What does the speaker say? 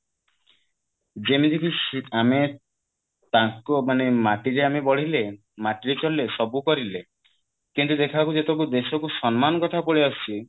ଯେମିତିକି ସି ଆମେ ତାଙ୍କ ମାନେ ମାଟି ଯେ ଆମେ ବଢିଲେ ମାଟିରେ ଚଳିଲେ ସବୁ କରିଲେ କିନ୍ତୁ ଦେଖିଲ ବେଳକୁ ଯେତେବେଳେକୁ ଦେଶକୁ ସମ୍ମାନ କଥା ପଳେଇ ଆସୁଛି